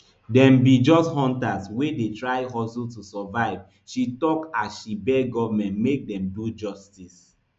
dem be just hunters wey dey try hustle to survive she tok as she beg goment make dem do justice